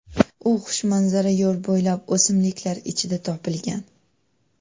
U xushmanzara yo‘l bo‘ylab o‘simliklar ichidan topilgan.